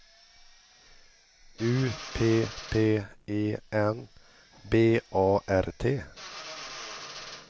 U P P E N B A R T